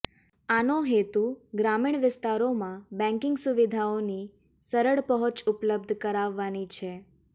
આનો હેતુ ગ્રામીણ વિસ્તારોમાં બેન્કિંગ સુવિધાઓની સરળ પહોંચ ઉપલબ્ધ કરાવવાની છે